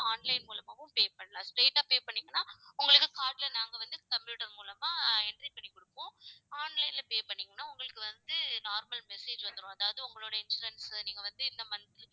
online மூலமாவும் pay பண்ணலாம். straight ஆ pay பண்ணீங்கன்னா உங்களுக்கு card ல நாங்க வந்து computer மூலமா entry பண்ணிக் கொடுப்போம் online ல pay பண்ணீங்கன்னா உங்களுக்கு வந்து, normal message வந்துரும் அதாவது உங்களுடைய insurance அ நீங்க வந்து இந்த month